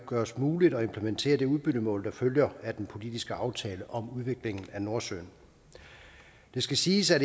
gøres muligt at implementere det udbyttemål der følger af den politiske aftale om udviklingen af nordsøen det skal siges at